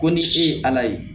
Ko ni e ye ala ye